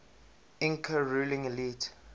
inca ruling elite